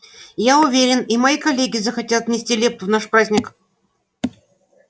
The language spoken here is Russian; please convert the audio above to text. я уверен и мои коллеги захотят внести лепту в наш праздник